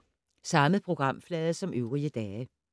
Samme programflade som øvrige dage